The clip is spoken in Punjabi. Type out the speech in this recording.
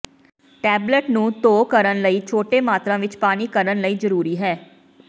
ਟੈਬਲੇਟ ਨੂੰ ਧੋ ਕਰਨ ਲਈ ਛੋਟੇ ਮਾਤਰਾ ਵਿੱਚ ਪਾਣੀ ਕਰਨ ਲਈ ਜ਼ਰੂਰੀ ਹੈ